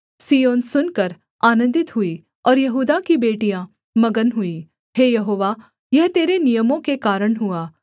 सिय्योन सुनकर आनन्दित हुई और यहूदा की बेटियाँ मगन हुई हे यहोवा यह तेरे नियमों के कारण हुआ